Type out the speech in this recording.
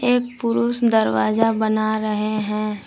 एक पुरुष दरवाजा बना रहे हैं।